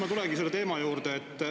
Aga nüüd ma tulengi teema juurde.